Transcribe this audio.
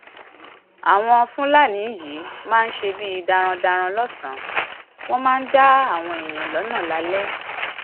àwọn fúlàní yìí máa ń ṣe bíi darandaran lọsànán wọn máa ń dá àwọn èèyàn lọnà lálẹ